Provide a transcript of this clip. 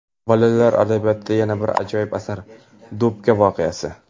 Bolalar adabiyotida yana bir ajoyib asar: Do‘pka voqeasi!.